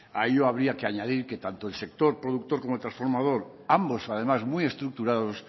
a ello habría que añadir que tanto el sector productor como el transformador ambos además muy estructurados